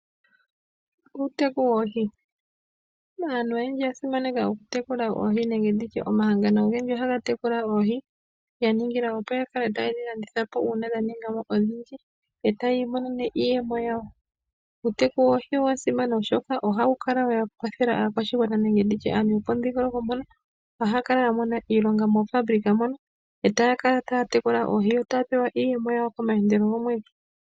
Uuteku woohi. Aantu oyendji oya simaneka oku tekula oohi nenge omahangano ogendji ohaga tekula oohi ya ningila opo yakale tayedhi landitha uuna dhaninga odhindji yo taya imonene iiyemo yawo. Uuteku woohi owasimana oshoka ohawu kala wa kwathela aakwashigwana nenge antu yopomudhingoloko mpono ohaya kala yamona iilonga moofabulika mono etaya kala taya tekula oohi ,yo taya mono iiyemo yawo komaandelo gomwedhi